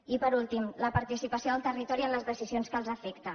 i per últim la participació del territori en les decisions que els afecten